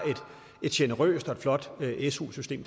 et generøst og flot su system